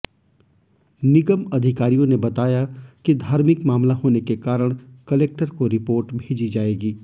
निगम अधिकारियों ने बताया कि धार्मिक मामला होने के कारण कलेक्टर को रिपोर्ट भेजी जाएगी